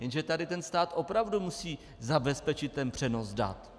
Jenže tady ten stát opravdu musí zabezpečit ten přenos dat.